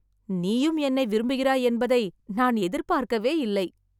நீயும் என்னை விரும்புகிறாய் என்பதை நான் எதிர்பார்க்கவே இல்லை!